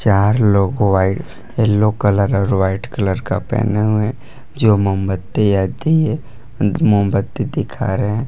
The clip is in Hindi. चार लोग व्हाइट येलो कलर और व्हाइट कलर का पहने हुए जो मोमबत्ती या दिये मोमबत्ती दिखा रहे--